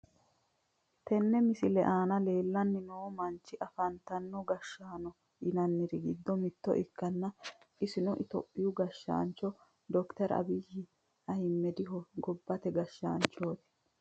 Tenne misile aana leellanni noo manchi afantino gashshaanno yinanniri giddo mitto ikkanna isino itophiyuu gashshaancho dokiteri abiyyi ahiimmediho gobbate gashshaanchooti.